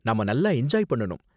நாம நல்லா என்ஜாய் பண்ணனும்.